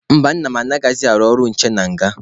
Mba, nna m anaghịzị arụ ọrụ nche na nga.